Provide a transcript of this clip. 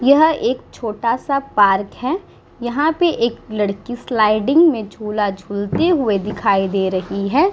यह एक छोटा सा पार्क है यहाँ पे एक लड़की स्लाइडिंग में झूला झूलते हुए दिखाई दे रही है।